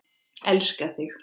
Elska þig.